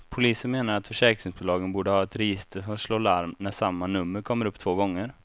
Polisen menar att försäkringsbolagen borde ha ett register som slår larm när samma nummer kommer upp två gånger.